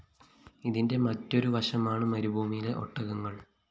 ഇതിന്റെ മറ്റൊരു വശമാണ് മരുഭൂമിയിലെ ഒട്ടകങ്ങള്‍